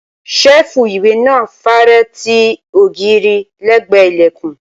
ṣẹ́ẹ̀fù ìwé náà fare ti ogiiri lẹ́gbẹ̀ẹ́ ìlẹ̀kùn